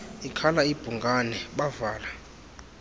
ikhala ibhungane bavala